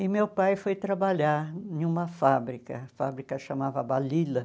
E meu pai foi trabalhar em uma fábrica, a fábrica chamava Balila.